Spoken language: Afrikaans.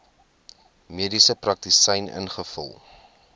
mediese praktisyn ingevul